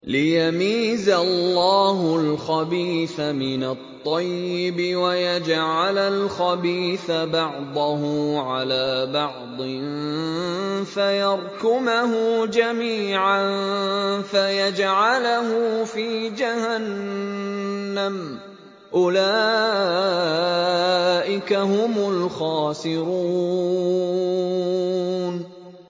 لِيَمِيزَ اللَّهُ الْخَبِيثَ مِنَ الطَّيِّبِ وَيَجْعَلَ الْخَبِيثَ بَعْضَهُ عَلَىٰ بَعْضٍ فَيَرْكُمَهُ جَمِيعًا فَيَجْعَلَهُ فِي جَهَنَّمَ ۚ أُولَٰئِكَ هُمُ الْخَاسِرُونَ